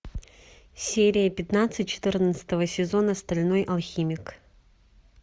серия пятнадцать четырнадцатого сезона стальной алхимик